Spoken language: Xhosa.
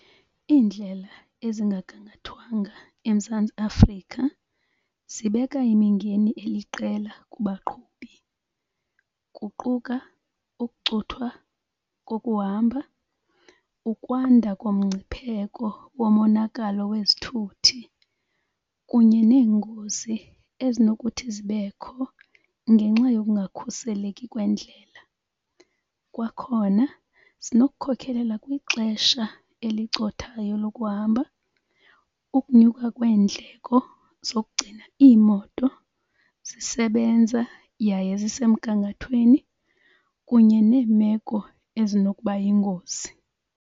Iindlela ezingagangathwanga eMzantsi Afrika zibeka imingeni eliqela kubaqhubi kuquka ukucuthwa kokuhamba, ukwanda komngcipheko womonakalo wezithuthi, kunye neengozi ezinokuthi zibekho ngenxa yokungakhuseleki kweendlela. Kwakhona zinokukhokelela kwixesha elicothayo lokuhamba ukunyuka kweendleko zokugcina iimoto zisebenza yaye zisemgangathweni, kunye neemeko ezinokuba yingozi.